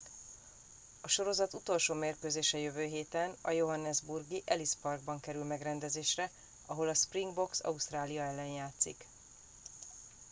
a sorozat utolsó mérkőzése jövő héten a johannesburgi ellis parkban kerül megrendezésre ahol a springboks ausztrália ellen játszik